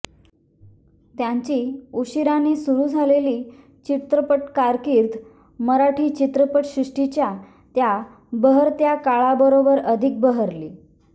त्यांची उशिरानेच सुरू झालेली चित्रपट कारकिर्द मराठी चित्रपटसृष्टीच्या त्या बहरत्या काळाबरोबर अधिक बहरली